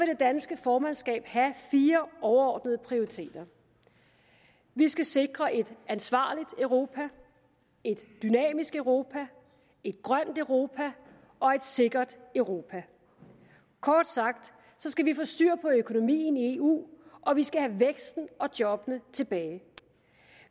det danske formandskab have fire overordnede prioriteter vi skal sikre et ansvarligt europa et dynamisk europa et grønt europa og et sikkert europa kort sagt skal vi få styr på økonomien i eu og vi skal have væksten og jobbene tilbage